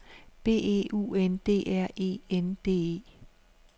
B E U N D R E N D E